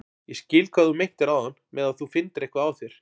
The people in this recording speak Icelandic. Ég skil hvað þú meintir áðan með að þú finndir eitthvað á þér.